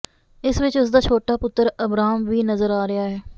ਇਸ ਵਿੱਚ ਉਸ ਦਾ ਛੋਟਾ ਪੁੱਤਰ ਅਬਰਾਮ ਵੀ ਨਜ਼ਰ ਆ ਰਿਹਾ ਹੈ